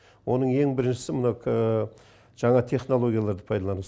оның ең біріншісі мына жаңа технологияларды пайдалану